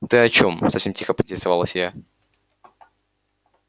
ты о чём совсем тихо поинтересовалась я